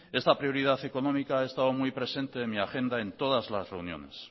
esta prioridad económica ha estado muy presente en mi agenda en todas la reuniones